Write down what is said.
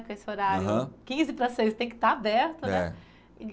Com esse horário. Aham. Quinze para as seis, tem que estar aberto, né? É